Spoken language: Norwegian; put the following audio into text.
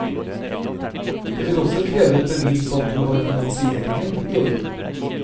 Det vil også kreve et bevis på at du har finansieringen i orden.